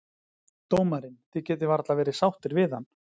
Dómarinn, þið getið varla verið sáttir við hann?